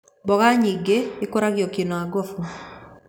Mboga nyingĩ ikũragio Kĩnangofu